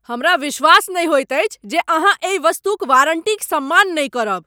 हमरा विश्वास नहि होइत अछि जे अहाँ एहि वस्तुक वारंटीक सम्मान नहि करब।